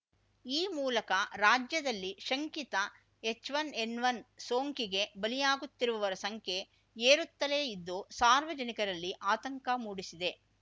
ಈ ಮೂಲಕ ರಾಜ್ಯದಲ್ಲಿ ಶಂಕಿತ ಎಚ್‌ಒನ್ ಎನ್‌ಒನ್ ಸೋಂಕಿಗೆ ಬಲಿಯಾಗುತ್ತಿರುವವರ ಸಂಖ್ಯೆ ಏರುತ್ತಲೇ ಇದ್ದು ಸಾರ್ವಜನಿಕರಲ್ಲಿ ಆತಂಕ ಮೂಡಿಸಿದೆ